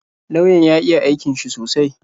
Lauyan ya iya aikin shi sosai